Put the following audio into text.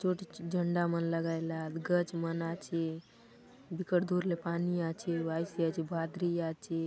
छोटी च झंडा मन लगैलात गछ मन आछे बिकट दूर ले पानी आछे वायसि आछे भाद्रि आछे।